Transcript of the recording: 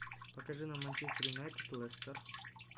покажи нам манчестер юнайтед лестер